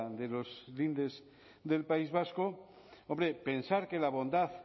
de los lindes del país vasco hombre pensar que la bondad